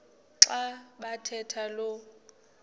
xa bathetha lo